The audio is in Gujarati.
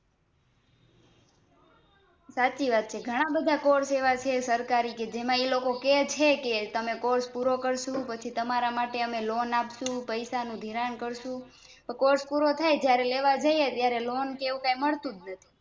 સાચી વાત છે ઘણાબધા Course સરકારીજેમાં એ લોકો કેછેકે તમે Course પૂરો કરશો પછી તમાંરા માટે અમે Loan આપ્સુ પૈસા નું ધીરાણ કરશું Course પૂરો થાય ત્યારે લેવા જીએ Loan કે એવું મળતું જ નથી